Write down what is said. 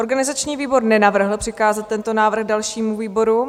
Organizační výbor nenavrhl přikázat tento návrh dalším výborům.